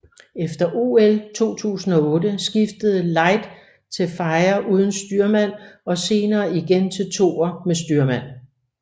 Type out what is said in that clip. Efter OL 2008 skiftede Light til firer uden styrmand og senere igen til toer med styrmand